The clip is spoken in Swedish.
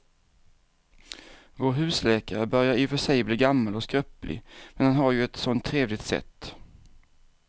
Vår husläkare börjar i och för sig bli gammal och skröplig, men han har ju ett sådant trevligt sätt!